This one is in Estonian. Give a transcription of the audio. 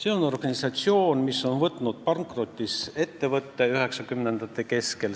Tegu on organisatsiooniga, mis võttis 1990-ndate keskel endale pankrotis ettevõtte.